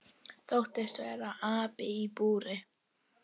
Þóttist vera api í búri.